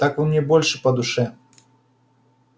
так вы мне больше по душе